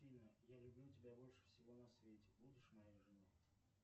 афина я люблю тебя больше всего на свете будешь моей женой